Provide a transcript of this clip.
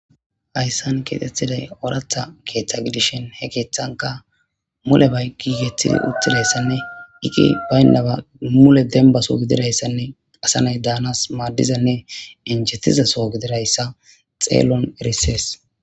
hayssan keexettiday ooratha keeththa gidishin he keeththanka mule bay giigethidi uttidayssanne iqi baynnaba mule dembaso gididayssanne asanay daanas maaddizanne injetizaso gidirayssa xeellon erisees